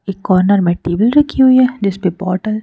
एक कॉर्नर मै टेबल रखी हुई है जिस पे बोतल --